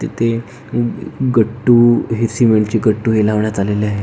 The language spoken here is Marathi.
तिथे गटू हे अ सीमेंट चे गटू हे लावण्यात आलेले आहे.